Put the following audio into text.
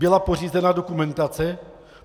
Byla pořízena dokumentace?